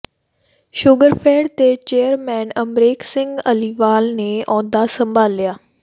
Sugarfed ਦੇ chairman Amrik Singh Aliwal ਨੇ ਅਹੁਦਾ ਸੰਭਾਲਿਆ